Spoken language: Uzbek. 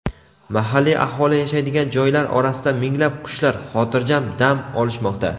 Mahalliy aholi yashaydigan joylar orasida minglab qushlar "xotirjam" dam olishmoqda.